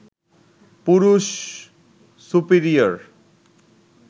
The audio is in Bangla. পুরুষ সুপিরিয়র